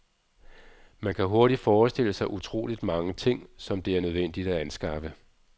Man kan hurtigt forestille sig utrolig mange ting, som det er nødvendig at anskaffe.